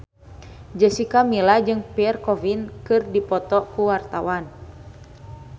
Jessica Milla jeung Pierre Coffin keur dipoto ku wartawan